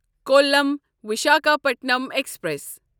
column Visakhapatnam express